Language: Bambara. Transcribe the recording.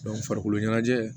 farikolo ɲɛnajɛ